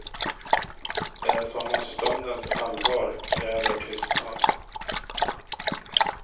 Det är som om stundens allvar kräver tystnad.